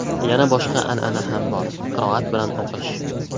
Yana boshqa an’ana ham bor: qiroat bilan o‘qish.